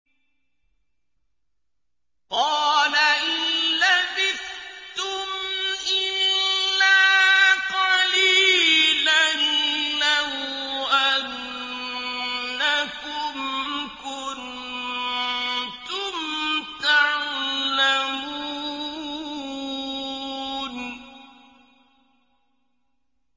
قَالَ إِن لَّبِثْتُمْ إِلَّا قَلِيلًا ۖ لَّوْ أَنَّكُمْ كُنتُمْ تَعْلَمُونَ